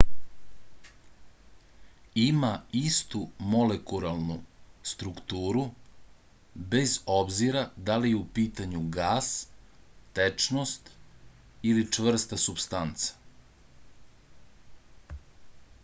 ima istu molekularnu strukturu bez obzira da li je u pitanju gas tečnost ili čvrsta supstanca